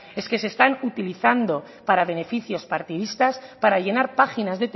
es que se están utilizando para beneficios partidistas para llenar páginas